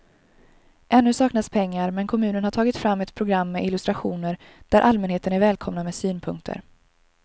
Ännu saknas pengar men kommunen har tagit fram ett program med illustrationer där allmänheten är välkomna med synpunkter.